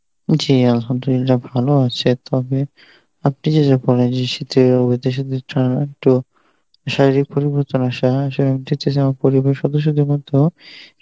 জী Arbi ভালো আছে তবে আপনি যা যা বললেন যে শীতে তো শারীরিক পরিবর্তন পরিবারের সদস্য় মধ্যেও